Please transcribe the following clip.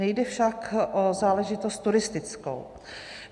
Nejde však o záležitost turistickou.